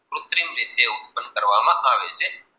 કુત્રિક રીત ઉતપ્પન કરવમાં આવે છે.